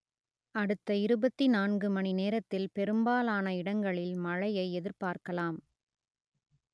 அடுத்த இருபத்தி நான்கு மணி நேரத்தில் பெரும்பாலான இடங்களில் மழையை எதிர்பார்க்கலாம்